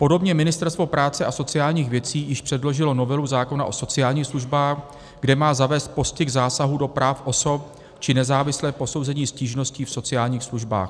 Podobně Ministerstvo práce a sociálních věcí již předložilo novelu zákona o sociálních službách, kde má zavést postih zásahů do práv osob či nezávislé posouzení stížnosti v sociálních službách.